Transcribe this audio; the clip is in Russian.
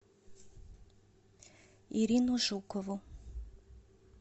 ирину жукову